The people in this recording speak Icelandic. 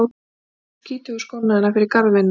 Geymdu skítugu skóna þína fyrir garðvinnuna